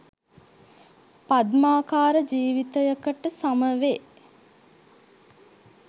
පද්මාකාර ජීවිතයකට සමවේ.